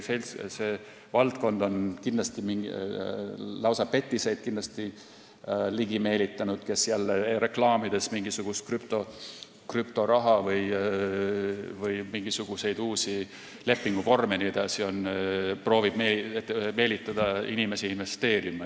See valdkond on kindlasti ligi meelitanud lausa petiseid, kes jälle reklaamides mingit krüptoraha, mingisuguseid uusi lepinguvorme vms proovib meelitada inimesi investeerima.